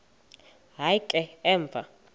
hayi ke emva